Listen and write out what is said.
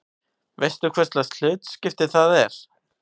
Veistu hverslags hlutskipti það er?